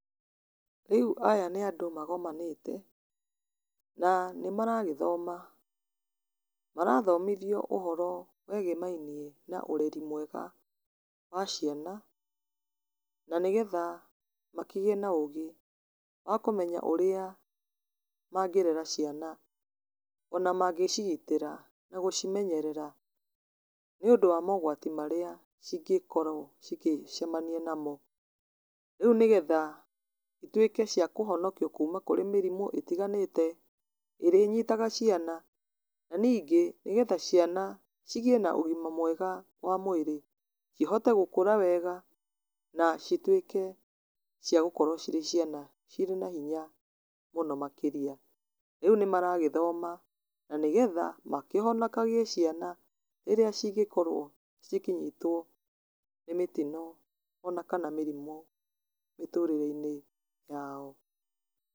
Riu aya ni andũ magomanĩte, na nĩ maragĩthoma, marathomithio ũhoro wĩgĩmainie na ũreri mwega wa ciana, na nĩgetha makĩgĩe na ũgĩ wa kũmenya ũrĩa mangĩrera ciana ona mangĩcigitĩra, na gũcimenyerera, nĩ undũ wa mogwati marĩa cingĩkorwo cigĩcemania namo. Rĩu nĩgetha cituĩke cia kũhonokio kuma kũrĩ mĩrimũ ĩtiganĩte, ĩria ĩnyĩtaga ciana, na ningĩ nĩgetha ciana igĩe na ũgima mwega wa mwĩrĩ, cihote gũkũra wega na cituĩke cia gũkorwo cirĩ ciana, cirĩ na hinya mũno makĩria. Riu nĩ maragĩthoma na nĩgetha na nĩgetha makĩhonokagie ciana rĩrĩa cingĩkorwo cikĩnyitwo nĩ mĩtino kana mĩrimũ mĩtũrĩreinĩ yao.